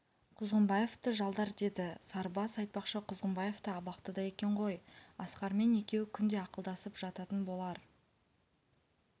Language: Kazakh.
құзғынбаевты жалдар деді сарыбас айтпақшы құзғынбаев та абақтыда екен ғой асқармен екеуі күнде ақылдасып жататын болар